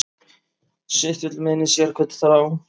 Sitt vill meinið sérhvern þjá.